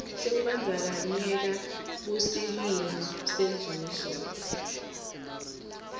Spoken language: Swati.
sekubandzakanyeka kusikimu senzuzo